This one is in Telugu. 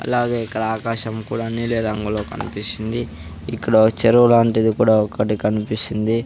అలాగే ఇక్కడ ఆకాశం కూడా నీలిరంగులో కనిపిస్తుంది ఇక్కడ చెరువు లాంటిది కూడా ఒకటి కనిపిస్తుంది.